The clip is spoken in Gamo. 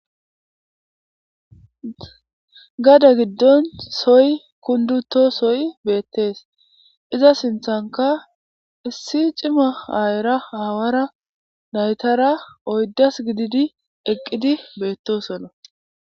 Gade giddon soy kunduto soy beettees iza sinthanka issi cima aayera aawara naytara oyddas gididi eqqidi beettosona.